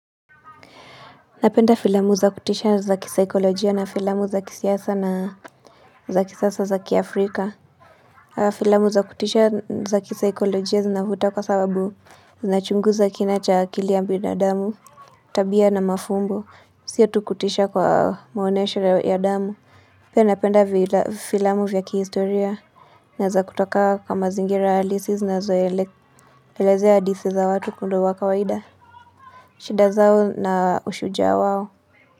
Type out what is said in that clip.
Napenda filamu za kutisha na za kisaikolojia na filamu za kisiasa na za kisasa za ki Africa. Filamu za kutisha na za kisaikolojia zinavuta kwa sababu zinachunguza kina cha akili ya binadamu. Tabia na mafumbo, sio tu kutisha kwa maonesho ya damu. Pia napenda filamu vya kihistoria. Na za kutoka kwa kwa mazingira halisi zinazoelezea hadithi za watu kundi wa kawaida. Shida zao na ushujaa wao.